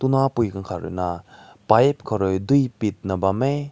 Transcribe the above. tu na pui güng kat rui na pipe kow rui deui pit na bam meh.